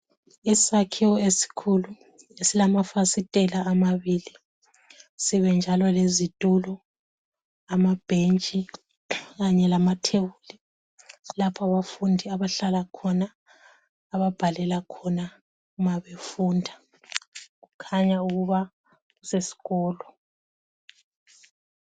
Isakhiwo esikhulu esilamafasitela amabili sibe njalo lezitulo ,amabhentshi kanye lamatebuli lapho abafundi abahlala khona ababhalela khona uma befunda kukhanya ukuthi kusesikolo.